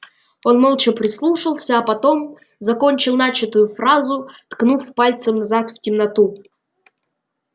он молча прислушался а потом закончил начатую фразу ткнув пальцем назад в темноту